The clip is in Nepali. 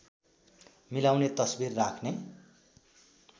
मिलाउने तस्बिर राख्ने